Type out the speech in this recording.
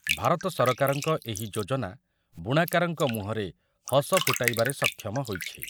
ଭାରତ ସରକାରଙ୍କ ଏହି ଯୋଜନା ବୁଣାକାରଙ୍କ ମୁହଁରେ ହସ ଫୁଟାଇବାରେ ସକ୍ଷମ ହୋଇଛି ।